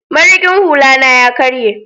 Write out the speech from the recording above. mariƙin hula na ya karye